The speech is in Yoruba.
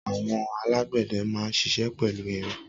Awọn àlágbẹdẹ mà n ṣiṣẹ pẹlú irin